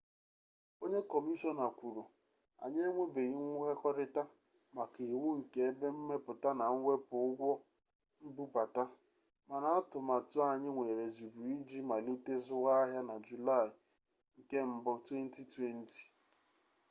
onye kọmishọna kwuru anyị enwebeghị nkwekọrịta maka iwu nke ebe mmepụta na mwepụ ụgwọ mbubata mana atụmatụ anyị nwere zuru oke iji malite zụwa ahịa na julaị 1 2020